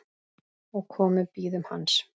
og komu bíðum hans